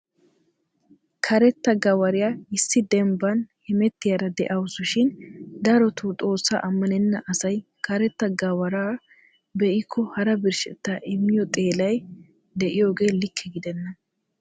Karetta Gawariyaa issi dembban hemettiyaara de'awusu shin darottoo xoossa ammanenna asay karetta gawaraaa be'ikko hara birshshetta immiyo xeellay de'iyooge likke gidena.